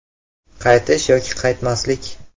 Qaytish yoki qaytmaslik?